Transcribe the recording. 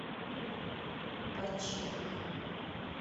починка